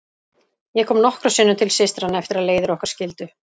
Ég kom nokkrum sinnum til systranna eftir að leiðir okkar skildi.